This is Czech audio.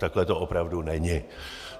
Takhle to opravdu není.